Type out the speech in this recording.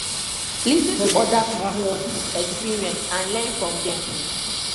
lis ten to oda pipo own experience and learn from them